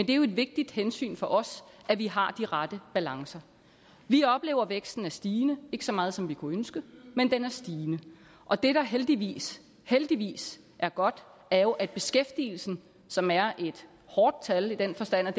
det er et vigtigt hensyn for os at vi har de rette balancer vi oplever at væksten er stigende ikke så meget som vi kunne ønske men den er stigende og det der heldigvis heldigvis er godt er jo at beskæftigelsen som er et hårdt tal i den forstand at